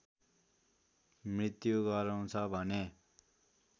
मृत्यु गराउँछ भने